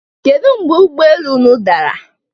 Kedụ mgbe ụgbọ elu ụnụ dara?